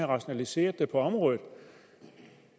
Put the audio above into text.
rationaliseret på området